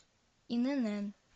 инн